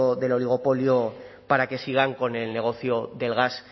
del oligopolio para que sigan con el negocio del gas